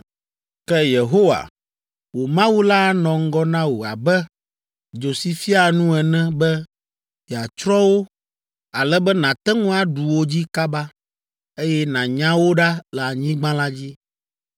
Ke Yehowa, wò Mawu la anɔ ŋgɔ na wò abe dzo si fiaa nu ene be yeatsrɔ̃ wo ale be nàte ŋu aɖu wo dzi kaba, eye nànya wo ɖa le anyigba la dzi.